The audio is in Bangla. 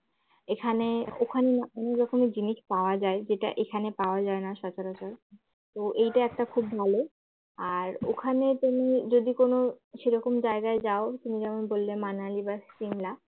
এখানে ওখানে অনেক রকম জিনিস পাওয়া যায় যেটা এখানে পাওয়া যায় না সচরাচর তো এটা একটা খুব ভালো আর ওখানে তুমি যদিকোন সেরকম জায়গায় যাও তুমি যেমন বললে মানালি বা সিমলা